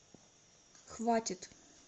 хватит